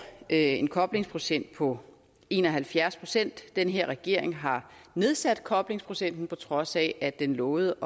en koblingsprocent på en og halvfjerds den her regering har nedsat koblingsprocenten på trods af at den lovede